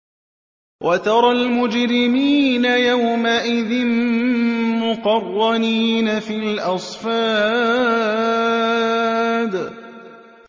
وَتَرَى الْمُجْرِمِينَ يَوْمَئِذٍ مُّقَرَّنِينَ فِي الْأَصْفَادِ